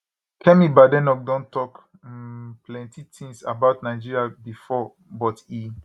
kemi badenoch don tok um plenty tins about nigeria bifor but e